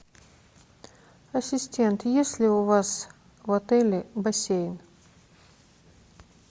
ассистент есть ли у вас в отеле бассейн